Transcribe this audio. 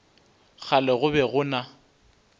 kgale go be go na